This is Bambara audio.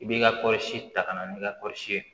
I b'i ka kɔɔrisi ta ka na n'i ka kɔɔrisi ye